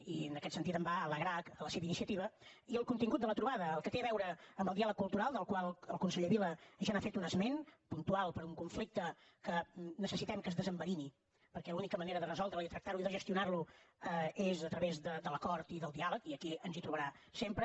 i en aquest sentit em va alegrar la seva iniciativa i el contingut de la trobada el que té a veure amb el diàleg cultural del qual el conseller vila ja n’ha fet un esment puntual per un conflicte que necessitem que es desenverini perquè l’única manera de resoldre’l i tractar lo i de gestionar lo és a través de l’acord i del diàleg i aquí ens hi trobarà sempre